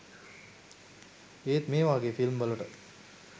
ඒත් මේ වාගෙ ෆිල්ම් වලට